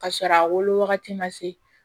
Ka sɔrɔ a wolo wagati ma se